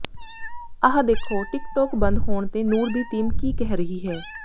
ਆਹ ਦੇਖੋ TikTok ਬੰਦ ਹੋਣ ਤੇ ਨੂਰ ਦੀ ਟੀਮ ਕੀ ਕਹਿ ਰਹੀ ਹੈ